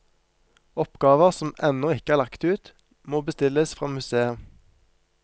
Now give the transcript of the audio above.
Oppgaver som ennå ikke er lagt ut, må bestilles fra museet.